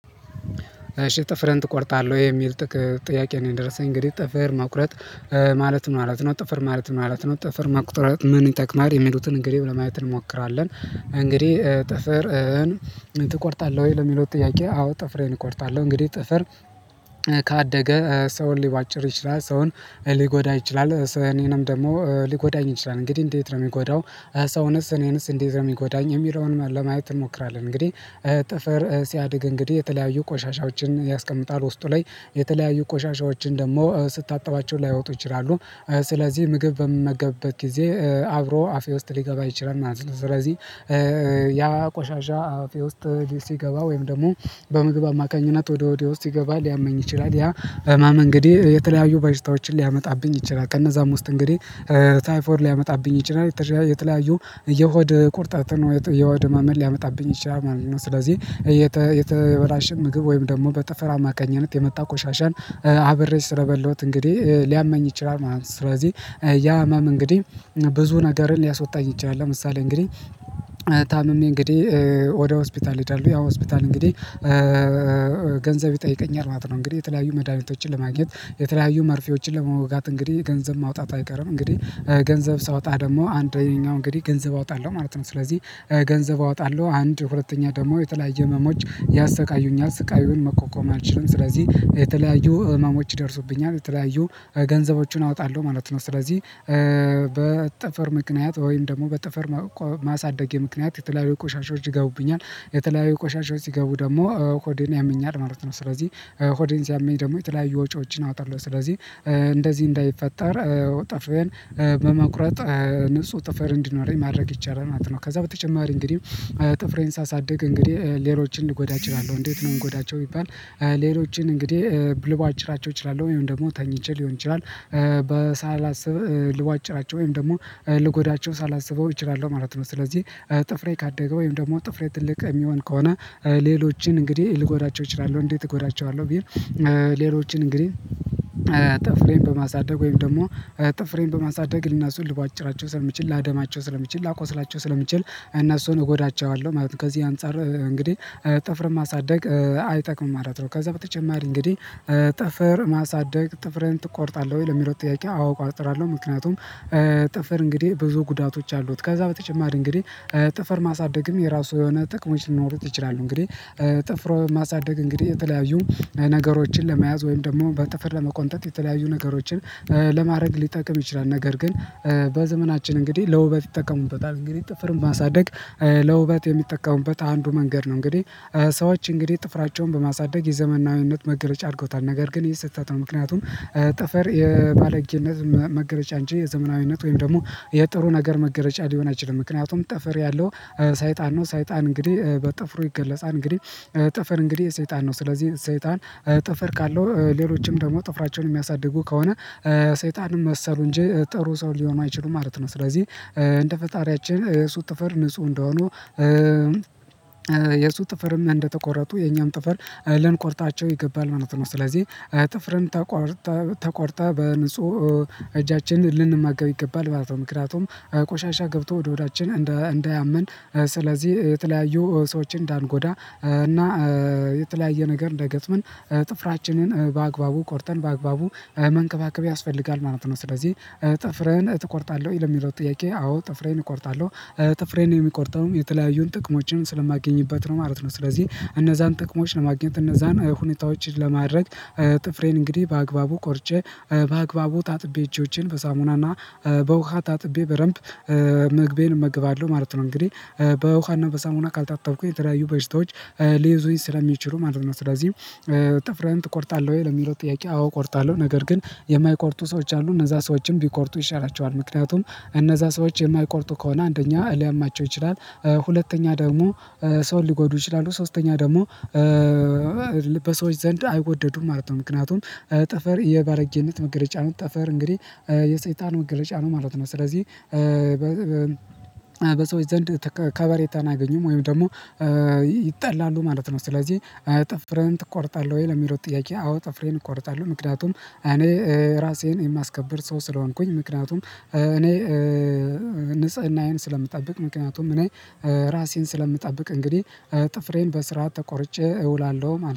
እሺ ጥፍርህን ትቆርጣለህ ወይ የሚል ጥያቄ ነው? የደረሰኝ እንግዲህ ጥፍር መቁረጥ ማለት ምን ማለት ነው ጥፍር ማለት ምን ማለት ነው? ጥፍር መቁረጥ ምን ይጠቅማል የሚሉትን እንግዲህ ለማየት እንሞክራለን። እንግዲህ ጥፍርህን ትቆርጣለህ ወይ ለሚለው ጥያቄ አዎ ጥፍሬን እቆርጣለሁ። እንግዲህ ጥፍር ካደገ ሰውን ሊቧጭር ይችላል ሰውን ሊጎዳ ይችላል እኔንም ደግሞ ሊጎዳኝ ይችላል እንግዲህ እንዴት ነው እሚጎዳው? ሰውንስ እኔንስ እንዴት ነው እሚጎዳኝ እሚለውን ለማየት እንሞክራለን። እንግዲህ ጥፍር ሲያድግ እንግዲህ የተለያዩ ቆሻሻዎችን ያስቀምጣል ውስጡ ላይ የተለያዩ ቆሻሻዎችን ደግሞ ስታጠባቸው ላይወጡ ይችላሉ። ስለዚህ ምግብ በምመገብበት ጊዜ አብሮ አፌ ውስጥ ሊገባ ይችላል ማለት ነው። ስለዚህ ያ ቆሻሻ አፌ ውስጥ ሲገባ ወይም ደግሞ በምግብ አማካኝነት ወደ ሆዴ ውስጥ ሲገባ ሊያመኝ ይችላል። ያ ህመም እንግዲህ የተለያዩ በሽታዎችን ሊያመጣብኝ ይችላል። ከነዛም ውስጥ እንግዲህ ታይፎድ ሊያመጣብኝ ይችላል። የተለያዩ የሆድ ቁርጠትን የሆድ እመምን ሊያመጣብኝ ይችላል ማለት ነው። ስለዚህ የተበላሸን ምግብ ወይም ደግሞ በጥፍር አማካኝነት የመጣ ቆሻሻን አብሬ ስለበላሁት እንግዲህ ሊያመኝ ይችላል። ማለት ነው። ስለዚህ ያ ህመም እንግዲህ ብዙ ነገርን ሊያስወጣ ይችላል። ለምሳሌ እንግዲህ ታምሜ እንግዲህ ወደ ሆስፒታል እሔዳለው ያ ሆስፒታል እንግዲህ ገንዘብ ይጠይቀኛል ማለት ነው። እንግዲህ የተለያዩ መድሃኒቶችን ለማግኘት የተለያዩ መርፌዎችን ለመወጋት እንግዲህ ገንዘብ ማውጣት አይቀርም። እንግዲህ ገንዘብ ሳወጣ ደግሞ አንደኛው እንግዲህ ገንዘብ አውጣለሁ ማለት ነው። ስለዚህ ገንዘብ አወጣለሁ አንድ ሁለተኛ ደግሞ የተለያየ ህመሞች ያሰቃዩኛል ስቃዩን መቋቋም አልችልም። ስለዚህ የተለያዩ ህመሞች ይደርሱብኛል የተለያዩ ገንዘቦችን አወጣለሁ ማለት ነው። ስለዚህ በጥፍር ምክንያት ወይም ደግሞ በጥፍር ማሳደጌ ምክንያት የተለያዩ ቆሻሻዎች ይገቡብኛል የተለያዩ ቆሻሻዎች ሲገቡ ደግሞ ሆዴን ያመኛል ማለት ነው። ስለዚህ ሆዴን ሲያመኝ ደግሞ የተለያዩ ወጪዎችን አወጣለሁ። ስለዚህ እንደዚህ እንዳይፈጠር ጥፍሬን በመቁረጥ ንጹህ ጥፍር እንዲኖረኝ ማድረግ ይቻላል ማለት ነው። ከዛ በተጨማሪ እንግዲህ ጥፍሬን ሳሳድግ እንግዲህ ሌሎችን ልጎዳ እችላለሁ። እንዴት ነው እምጎዳቸው ቢባል ሌሎችን እንግዲህ ልቧጭራቸው እችላለሁ። ወይም ደግሞ ተኝቼ ሊሆን ይችላል ሳላስብ ልቧጭራቸው ወይም ደግሞ ልጎዳቸው ሳላስበው እችላለሁ ማለት ነው። ስለዚህ ጥፍሬ ካደገ ወይም ደግሞ ጥፍሬ ትልቅ እሚሆን ከሆነ ሌሎችን እንግዲህ ልጎዳቸው እችላለሁ። እንዴት እጎዳቸዋለሁ ብል ሌሎችን እንግዲህ ጥፍሬን በማሳደግ ወይም ደግሞ ጥፍሬን በማሳደግ እነሱን ልቧጭራቸው ስለምችል ላደማቸው ስለምችል ላቆስላቸው ስለሚችል እነሱን እጎዳቸዋለሁ ማለት ነው። ከዚህ አንፃር እንግዲህ ጥፍርን ማሳደግ አይጠቅምም ማለት ነው። ከዛ በተጨማሪ እንግዲህ ጥፍር ማሳደግ ጥፍርህን ትቆርጣለህ ወይ ለሚለው ጥያቄ አቆርጣለሁ። ምክንያቱም ጥፍር እንግዲህ ብዙ ጉዳቶች አሉት። ከዛ በተጨማሪ እንግዲህ ጥፍር ማሳደግም የራሱ የሆነ ጥቅሞች ሊኖሩት ይችላሉ። እንግዲህ ጥፍር ማሳደግ እንግዲህ የተለያዩ ነገሮችን ለመያዝ ወይም ደግሞ በጥፍር ለመቆንጠጥ የተለያዩ ነገሮችን ለማድረግ ሊጠቅም ይችላል። ነገር ግን በዘመናችን እንግዲህ ለውበት ይጠቀሙበታል እንግዲህ ጥፍርን ማሳደግ ለውበት የሚጠቀሙበት አንዱ መንገድ ነው። እንግዲህ ሰዎች እንግዲህ ጥፍራቸውን በማሳደግ የዘመናዊነት መገለጫ አድርገውታል ነገር ግን ይሄ ስህተት ነው። ምክንያቱም ጥፍር የባለጌነት መገለጫ አንጂ የዘመናዊነት ወይም ደግሞ የጥሩ ነገር መገለጫ ሊሆን አይችልም። ምክንያቱም ጥፍር ያለው ሰይጣን ነው። ሰይጣን እንግዲህ በጥፍሩ ይገለጻል። እንግዲህ ጥፍር እንግዲህ የሰይጣን ነው። ስለዚህ ሰይጣን ጥፍር ካለው ሌሎችም ደግሞ ጥፍራቸውን የሚያሳድጉ ከሆነ ሰይጣን መሰሉ እንጂ ጥሩ ሰው ሊሆኑ አይችሉም ማለት ነው። ስለዚህ እንደ ፈጣሪያችን የሱ ጥፈር ንጹህ እንደሆኑ የሱ ጥፍርም እንደተቆረጡ የኛም ጥፍር ልንቆርጣቸው ይገባል ማለት ነው። ስለዚህ ጥፍርን ተቆርጠን በንጹህ እጃችን ልንመገብ ይገባል ማለት ነው። ምክንያቱም ቆሻሻ ገብቶ ወደ ሆዳችን እንዳያመን ስለዚህ የተለያዩ ሰዎችን እንዳንጎዳ እና የተለያየ ነገር እንዳይገጥመን ጥፍራችንን በአግባቡ ቆርጠን በአግባቡ መንከባከብ ያስፈልጋል ማለት ነው። ስለዚህ ጥፍርህን ትቆርጣለህ ወይ ለሚለው ጥያቄ? አዎ ጥፍሬን እቆርጣለሁ። ጥፍሬን የምቆርጠውም የተለያዩን ጥቅሞችን ስለማገኝበት ነው ማለት ነው። ስለዚህ እነዛን ጥቅሞች ለማግኘት እነዛን ሁኔታዎችን ለማድረግ ጥፍሬን እንግዲህ በአግባቡ ቆርጬ በአግባቡ ታጥቤ እጆቼን በሳሙናና በውሃ ታጥቤ በደምብ ምግቤን እመገባለሁ ማለት ነው። እንግዲህ በውሃና በሳሙና ካልታጠብኩኝ የተለያዩ በሽታዎች ሊይዙኝ ስለሚችሉ ማለት ነው። ስለዚህ ጥፍርህን ትቆርጣለህ ወይ ለሚለው ጥያቄ? አዎ እቆርጣለሁ። ነገር ግን የማይቆርጡ ሰዎች አሉ እነዛ ሰዎችም ቢቆርጡ ይሻላቸዋል ምክንያቱም እነዛ ሰዎች የማይቆርጡ ከሆነ አንደኛ ሊያማቸው ይችላል። ሁለተኛ ደግሞ ሰውን ሊጎዱ ይችላሉ። ሶስተኛ ደግሞ በሰዎች ዘንድ አይወደዱም ማለት ነው። ምክንያቱም ጥፍር የባለጌነት መገለጫ ነው። ጥፍር እንግዲህ የሰይጣን መገለጫ ነው ማለት ነው። ስለዚህ በሰዎች ዘንድ ከበሬታን አያገኘም ወይም ደግሞ ይጠላሉ ማለት ነው። ስለዚህ ጥፍርህን ትቆርጣለህ ወይ ለሚለው ጥያቄ? አዎ ጥፍሬን እቆርጣለሁ። ምክንያቱም እኔ ራሴን የማስከብር ሰው ስለሆንኩኝ ምክንያቱም እኔ ንጽህናዬን ስለምጠብቅ ምክንያቱም እኔ ራሴን ስለምጠብቅ እንግዲህ ጥፍሬን በስርዓት ተቆርጬ እውላለሁ ማለት ነው